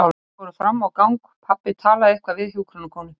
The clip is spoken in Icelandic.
Þeir fóru fram á gang og pabbi talaði eitthvað við hjúkrunarkonu.